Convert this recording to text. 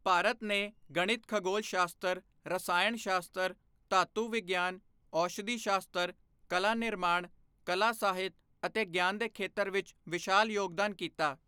ਭਾਰਤ ਨੇ ਗਣਿਤ ਖਗੋਲ ਸ਼ਾਸਤਰ ਰਸਾਇਣ ਸ਼ਾਸਤਰ ਧਾਤੂ ਵਿਗਿਆਨ ਔਸ਼ਧੀ ਸ਼ਾਸਤਰ ਕਲਾ ਨਿਰਮਾਣ ਕਲਾ ਸਾਹਿਤ ਅਤੇ ਗਿਆਨ ਦੇ ਖੇਤਰ ਵਿਚ ਵਿਸ਼ਾਲ ਯੋਗਦਾਨ ਕੀਤਾ।